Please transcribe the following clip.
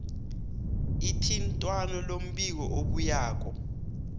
ithintwano lombiko obuyako